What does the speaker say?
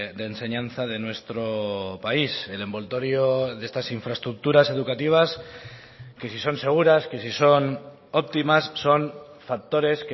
de enseñanza de nuestro país el envoltorio de estas infraestructuras educativas que si son seguras que si son óptimas son factores